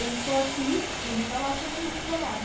Eu estou aqui e ele está lá coordenando o trabalho.